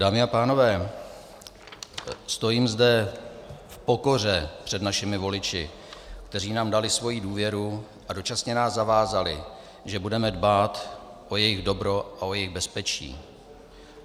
Dámy a pánové, stojím zde v pokoře před našimi voliči, kteří nám dali svoji důvěru a dočasně nás zavázali, že budeme dbát o jejich dobro a o jejich bezpečí.